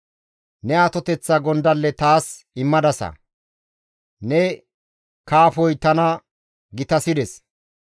Ne atoteththa gondalle taas immadasa; ne kaafoy tana gitasides.